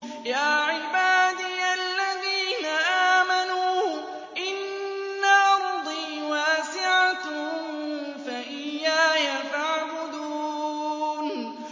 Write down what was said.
يَا عِبَادِيَ الَّذِينَ آمَنُوا إِنَّ أَرْضِي وَاسِعَةٌ فَإِيَّايَ فَاعْبُدُونِ